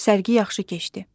Sərgi yaxşı keçdi.